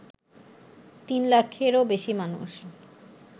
তিন লাখেরও বেশি মানুষ